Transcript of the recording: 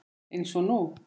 Eins og nú.